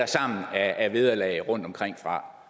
sammen af vederlag rundtomkringfra